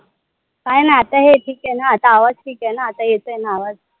आता हे ठीक आहे न? आता आवाज ठीक आय न? आता येत आय न आवाज?